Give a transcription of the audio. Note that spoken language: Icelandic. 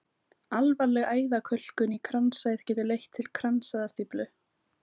Alvarleg æðakölkun í kransæð getur leitt til kransæðastíflu.